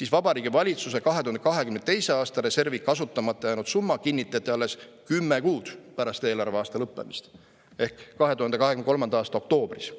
siis valitsuse 2022. aasta reservi kasutamata jäänud summa kinnitati alles kümme kuud pärast eelarveaasta lõppemist ehk 2023. aasta oktoobris.